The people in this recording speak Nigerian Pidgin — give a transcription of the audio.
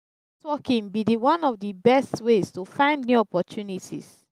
networking be di one of di best ways to find new job opportunities.